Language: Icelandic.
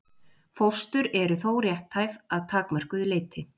Fóstur eru þó rétthæf að takmörkuðu leyti.